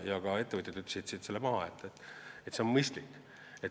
Ka ettevõtjad ütlesid siit maha, et see on mõistlik.